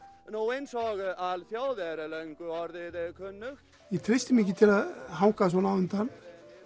eins og alþjóð er er löngu orðið kunnugt ég treysti mér ekki til að hanga svona á undan